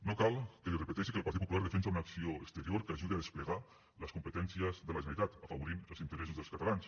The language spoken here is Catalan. no cal que li repeteixi que el partit popular defensa una acció exterior que ajudi a desplegar les competències de la generalitat afavorint els interessos dels catalans